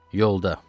Yolda.